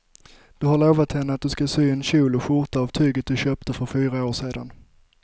Du har lovat henne att du ska sy en kjol och skjorta av tyget du köpte för fyra år sedan.